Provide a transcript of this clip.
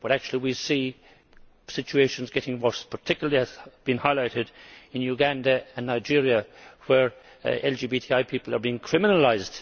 But actually we see situations getting worse, particularly as has been highlighted in Uganda and Nigeria, where LGBTI people are being criminalised.